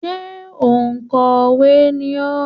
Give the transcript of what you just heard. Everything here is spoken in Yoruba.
Ṣé òǹkọ̀wé ni ọ́?